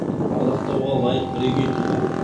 ардақтауға лайық бірегей тұлға